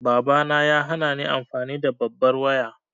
Babana ya hanani amfani da babbar waya.